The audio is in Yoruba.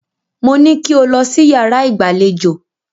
Mo ní kí o lọ sí yàrá ìgbàlejò.